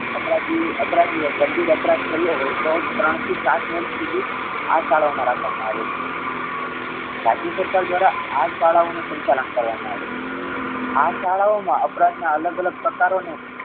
અપરાધી અપરાધીએ ગંભીર અપરાધ કર્યો. હોઈ તો ત્રણ થી સાત વર્ષ સુધી આ શાળાઓ મા રાખવામા આવે છે. રાજ્ય સરકાર દ્વારા આ શાળાઓ નું સંચાલન કરવામા આવે છે. આ શાળાઓ મા અપરાધ ના અલગ અલગ પ્રકારો ને